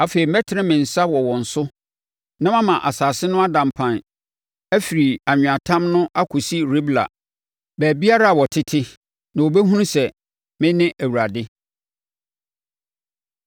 Afei mɛtene me nsa wɔ wɔn so na mama asase no ada mpan afiri anweatam no akɔsi Ribla, baabiara a wɔtete. Na wɔbɛhunu sɛ me ne Awurade.’ ”